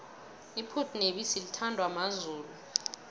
iphuthu nebisi lithandwa mazulu